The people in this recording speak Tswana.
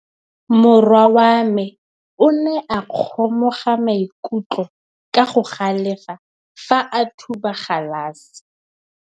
Morwa wa me o ne a kgomoga maikutlo ka go galefa fa a thuba galase.